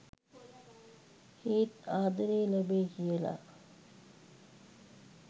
ඒත් ආදරේ ලැබෙයි කියලා.